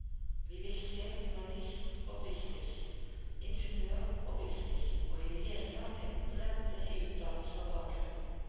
Vi vil se humanist og business, ingeniør og business og i det hele tatt en bredde i utdannelse og bakgrunn.